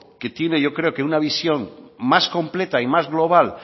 que tiene yo creo que una visión más completa y más global